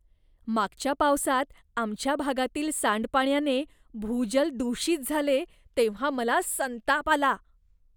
मागच्या पावसात आमच्या भागातील सांडपाण्याने भूजल दूषित झाले तेव्हा मला संताप आला.